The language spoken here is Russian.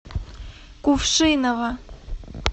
кувшиново